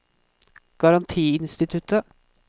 garantiinstituttet